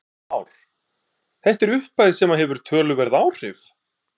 Heimir Már: Þetta er upphæð sem að hefur töluverð áhrif?